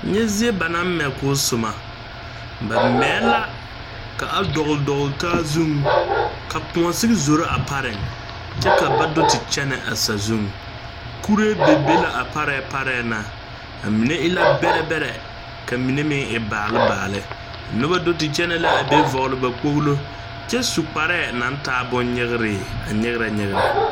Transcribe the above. Nyɛ zie ba naŋ mɛ k,o soma ba mɛɛ la k,a dɔgle dɔgle taa zuŋ ka koɔ sigi zoro a pareŋ kyɛ ka ba do te kyɛnɛ a sazuŋ kuree be be la a parɛɛ parɛɛ na a mine e la bɛrɛ bɛrɛ ka mine meŋ e baale baale noba do te kyɛnɛ la a be vɔgle ba kpoglo kyɛ su kparɛɛ naŋ taa bonnyegree a nyegrɛ nyegrɛ.